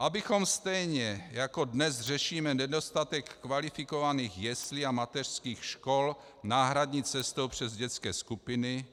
Abychom stejně, jako dnes řešíme nedostatek kvalifikovaných jeslí a mateřských škol náhradní cestou přes dětské skupiny,